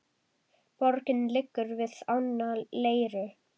Borgin liggur við ána Leiru.